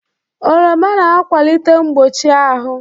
Oroma na-akwalite mgbochi ahụ.